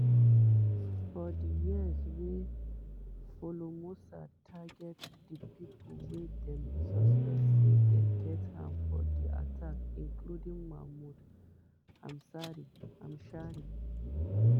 for di years wey followmossad target di pipo wey dem suspect say get hand for di attack including mahmoud hamshari.